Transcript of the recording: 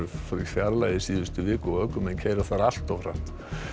fjarlægð í síðustu viku og ökumenn keyra þar allt of hratt